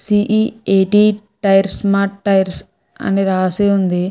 C. E. A. T. Tyres mart అని రాసి వుంది.